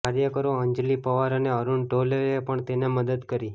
કાર્યકરો અંજલિ પવાર અને અરૂણ ઢોલેએ પણ તેને મદદ કરી